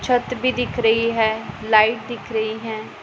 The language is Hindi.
छत भी दिख रही है लाइट दिख रही है।